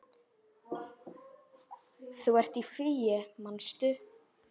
Þú ert í fríi, manstu?